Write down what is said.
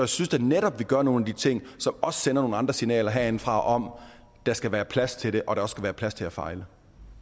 synes da netop vi gør nogle af de ting som også sender nogle andre signaler herindefra om at der skal være plads til det og at der også skal være plads til at fejle